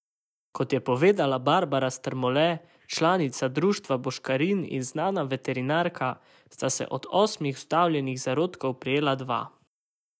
Kot je povedala Barbara Strmole, članica društva Boškarin in znana veterinarka, sta se od osmih vstavljenih zarodkov prijela dva.